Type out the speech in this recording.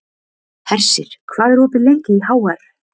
Hersir, hvað er opið lengi í HR?